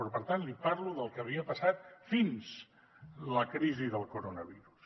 però per tant li parlo del que havia passat fins la crisi del coronavirus